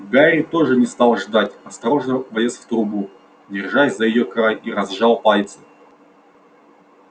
гарри тоже не стал ждать осторожно влез в трубу держась за её край и разжал пальцы